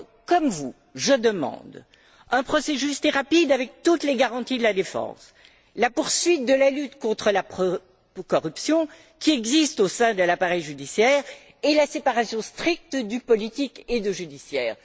Comme vous, je demande un procès juste et rapide avec toutes les garanties de la défense, la poursuite de la lutte contre la corruption qui existe au sein de l'appareil judiciaire, et la séparation stricte du politique et du judiciaire.